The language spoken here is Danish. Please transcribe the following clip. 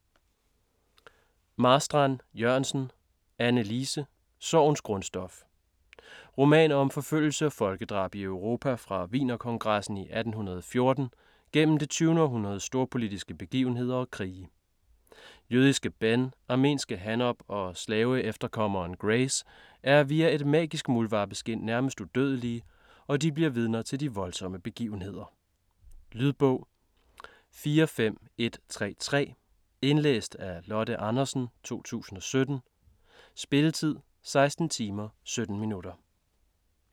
Marstrand-Jørgensen, Anne Lise: Sorgens grundstof Roman om forfølgelse og folkedrab i Europa fra Wienerkongressen i 1814 gennem det 20. århundredes storpolitiske begivenheder og krige. Jødiske Ben, armenske Hanob og slaveefterkommeren Grace er via et magisk muldvarpeskind nærmest udødelige, og de bliver vidner til de voldsomme begivenheder. Lydbog 45133 Indlæst af Lotte Andersen, 2017. Spilletid: 16 timer, 17 minutter.